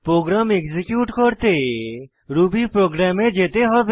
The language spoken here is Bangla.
প্রোগ্রাম এক্সিকিউট করতে রুবি প্রোগ্রাম এ যেতে হবে